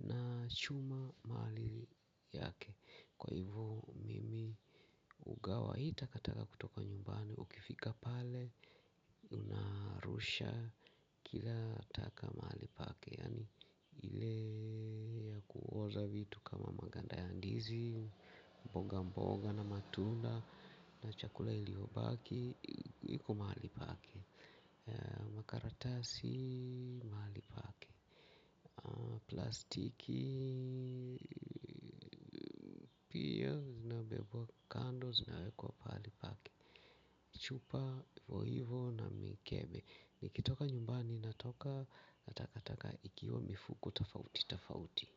na chuma mahali yake. Kwa hivyo mimi hugawa hii takataka kutoka nyumbani na ukifika pale unarusha kila taka mahali pake. Makaratasi mahali pake. Plastiki pia zinabebwa kando zinawekwa pahali pake. Chupa hivo hivo na mikebe. Nikitoka nyumbani natoka na takataka ikiwa mifuko tofauti tofauti.